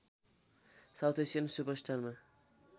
south Asian सुपरस्टारमा